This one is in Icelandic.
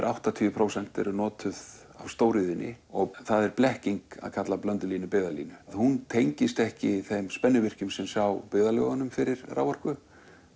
áttatíu prósent eru notuð af stóriðjunni og það er blekking að kalla Blöndulínu byggðalínu hún tengist ekki þeim spennuvirkjum sem sjá byggðalögunum fyrir raforku